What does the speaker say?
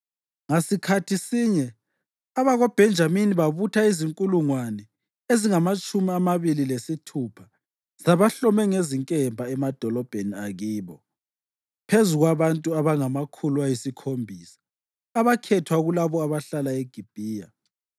Ngasikhathi sinye abakoBhenjamini babutha izinkulungwane ezingamatshumi amabili lesithupha zabahlome ngezinkemba emadolobheni akibo, phezu kwabantu abangamakhulu ayisikhombisa abakhethwa kulabo abahlala eGibhiya.